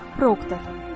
Bob Prokdor.